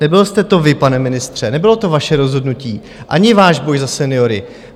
Nebyl jste to vy, pane ministře, nebylo to vaše rozhodnutí ani váš boj za seniory.